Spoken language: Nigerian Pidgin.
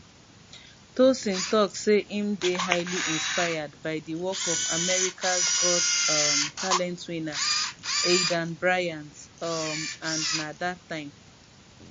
tosin tok say im dey highly inspired by di work of americas got um talent winner aidan byrant um and na dat time